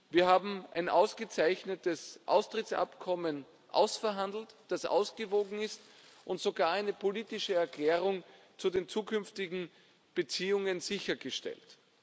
Wir haben ein ausgezeichnetes Austrittsabkommen ausverhandelt, das ausgewogen ist, und sogar eine politische Erklärung zu den zukünftigen Beziehungen sichergestellt.